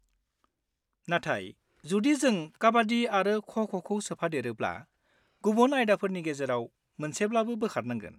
नाथाय जुदि जों काबाड्डि आरो ख'-ख'खौ सोफादेरोब्ला, गुबुन आयदाफोरनि गेजेराव मोनसेब्लाबो बोखारनांगोन।